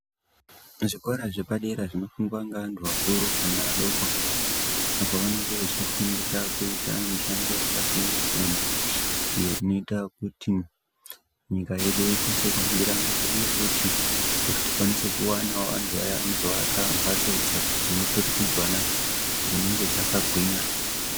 Zvikora zvepadera zvinofundwa ngevantu vakuru kana vadokoapo pavanenge vachifundira kuita mishando yakasiyana siyana iyo inoita kuti nyika yedu ikwanise kuhambira mberi uye futi kuti tikwanise kuwana antu aya vanozo akuvaka mbatso dzemu turikidzwana dzinenge dzakagwinya.